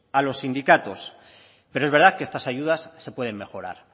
a los sindicatos pero es verdad que estas ayudas se pueden mejorar